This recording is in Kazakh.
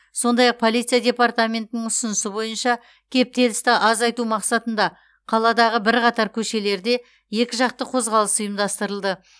сондай ақ полиция департаментінің ұсынысы бойынша кептелісті азайтау мақсатында қаладағы бірқатар көшелерде екіжақты қозғалыс ұйымдастырылды